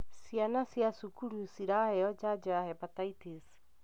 Ciana cia cukuru ciraheo janjo ya hepatitis